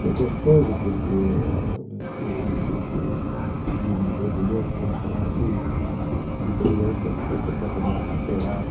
Foi gostoso porque ah um esse esse desentendimento, vamos chamar assim, de criança ficou completamente superado.